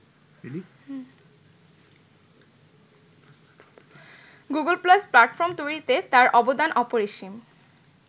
Google Plus platform তৈরিতে তার অবদান অপরিসীম